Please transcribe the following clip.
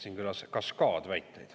Siin kõlas kaskaad väiteid.